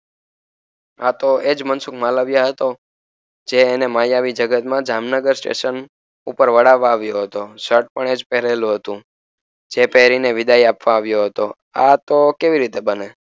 આતો એજ મનસુખ માલવિયા હતો જે એને માયાવી જગતમા જામનગર સ્ટેશન ઉપર વડાવા આવ્યો હતો શર્ટ પણ એજ પહેરેલું હતું જે પેરીને વિદાય આપવા આવ્યો હતો આતો કેવી રીતે બને